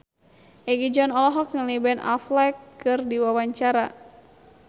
Egi John olohok ningali Ben Affleck keur diwawancara